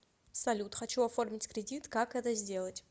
салют хочу оформить кредит как это сделать